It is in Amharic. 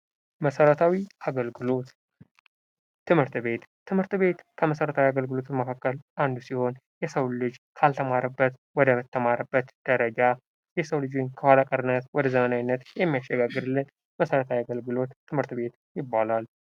መሠረታዊ አገልግሎት ትምህርት ቤት ትምህርት ቤት ከመሠረታዊ አገልግሎት መካከል አንዱ ሲሆን የሰው ልጅን ካልተማረበት ወደ ተማረበት ደረጃ የሰው ልጅን ከኋላ ቀርነት ወደ ዘመናዊነት የሚያሸጋግርልን የመሠረታዊ አገልግሎት ትምህርት ቤት ይባላል።